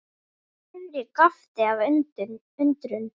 Friðrik gapti af undrun.